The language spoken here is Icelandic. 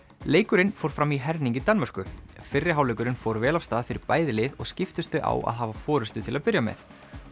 leikurinn fór fram í herning í Danmörku fyrri hálfleikurinn fór vel af stað fyrir bæði lið og skiptust þau á að hafa forystu til að byrja með